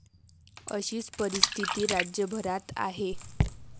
अशीच परिस्थिती राज्यभरात आहे.